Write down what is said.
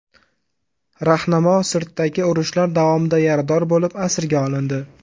Rahnamo Sirtdagi urushlar davomida yarador bo‘lib, asirga olindi.